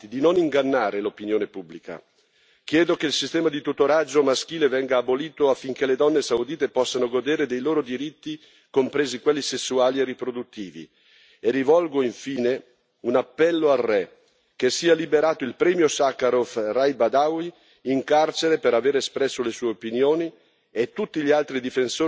Chiedo che il sistema di tutoraggio maschile venga abolito affinché le donne saudite possano godere dei loro diritti, compresi quelli sessuali e riproduttivi. E rivolgo, infine, un appello al re che sia liberato il premio Sacharov, Raif Badawi, in carcere per avere espresso le sue opinioni, e tutti gli altri difensori dei diritti umani che sono nelle stesse condizioni.